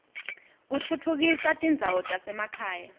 kutfutfukisa tindzawo tasemakhaya